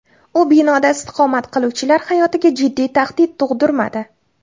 U binoda istiqomat qiluvchilar hayotiga jiddiy tahdid tug‘dirmadi.